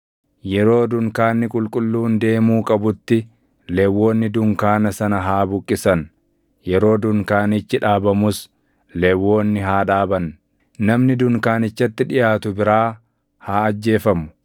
Yeroo dunkaanni qulqulluun deemuu qabutti Lewwonni dunkaana sana haa buqqisan; yeroo dunkaanichi dhaabamus Lewwonni haa dhaaban. Namni dunkaanichatti dhiʼaatu biraa haa ajjeefamu.